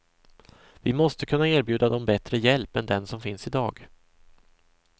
Vi måste kunna erbjuda dem bättre hjälp än den som finns i dag.